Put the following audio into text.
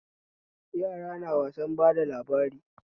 Yara na wasan bada labarai